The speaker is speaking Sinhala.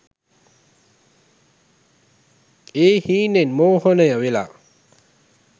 ඒ හීනේන් මෝහනය වෙලා.